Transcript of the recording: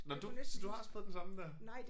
Nåh du så du har også fået den samme der?